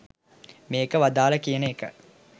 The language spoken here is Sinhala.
මේක වදාළේ කියන එක.